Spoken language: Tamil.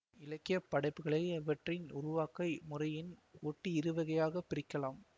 இலக்கிய படைப்புகளை அவற்றின் உருவாக்க முறையின் ஒட்டி இருவகையாகப் பிரிக்கலாம்